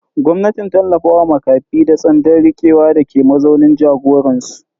Gwamnatin ta tallafa wa makafi da tsandan rikewa dake mazaunin jagoransu.